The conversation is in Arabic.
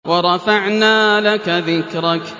وَرَفَعْنَا لَكَ ذِكْرَكَ